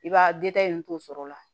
I b'a in to sɔrɔ la